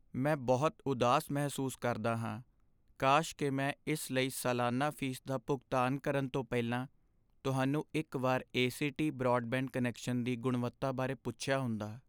ਮੈਂ ਬਹੁਤ ਉਦਾਸ ਮਹਿਸੂਸ ਕਰਦਾ ਹਾਂ, ਕਾਸ਼ ਕਿ ਮੈਂ ਇਸ ਲਈ ਸਾਲਾਨਾ ਫ਼ੀਸ ਦਾ ਭੁਗਤਾਨ ਕਰਨ ਤੋਂ ਪਹਿਲਾਂ ਤੁਹਾਨੂੰ ਇੱਕ ਵਾਰ ਏ.ਸੀ.ਟੀ. ਬਰਾਡਬੈਂਡ ਕਨੈਕਸ਼ਨ ਦੀ ਗੁਣਵੱਤਾ ਬਾਰੇ ਪੁੱਛਿਆ ਹੁੰਦਾ।